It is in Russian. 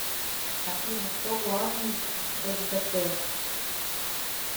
афина кто главный в сбт